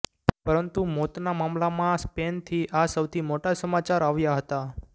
પરંતુ મોતના મામલામાં સ્પેનથી આ સૌથી મોટા સમાચાર આવ્યા હતા